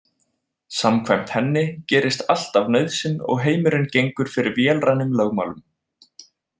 Samkvæmt henni gerist allt af nauðsyn og heimurinn gengur fyrir vélrænum lögmálum.